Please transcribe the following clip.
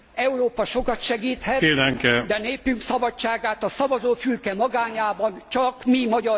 Európa sokat segíthet, de népünk szabadságát a szavazófülke magányában csak mi, magyar polgárok szerezhetjük vissza.